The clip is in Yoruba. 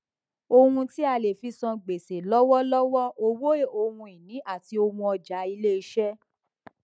ohun tí a lè fí san gbèsè lọwọlọwọ owó ohunìní àti ohun ọjà ilé iṣẹ